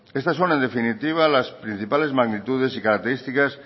estas son en definitiva las principales magnitudes y características